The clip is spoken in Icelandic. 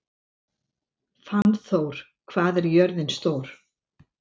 Fannþór, hvað er jörðin stór?